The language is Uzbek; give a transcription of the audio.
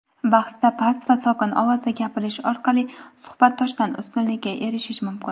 bahsda past va sokin ovozda gapirish orqali suhbatdoshdan ustunlikka erishish mumkin.